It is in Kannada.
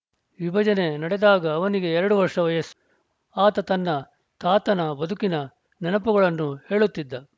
ವಿಭಜನೆ ನಡೆದಾಗ ಅವನಿಗೆ ಎರಡು ವರ್ಷ ವಯಸ್ಸು ಆತ ತನ್ನ ತಾತನ ಬದುಕಿನ ನೆನಪುಗಳನ್ನು ಹೇಳುತ್ತಿದ್ದ